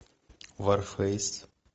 варфейс